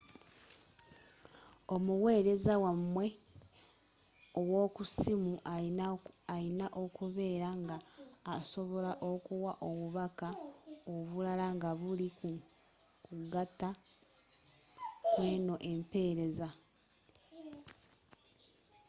omuweereza wamwe owokussimu alina okubeera nga asobola okuwa obubaka obulala nga buli ku kugata kweno empeereza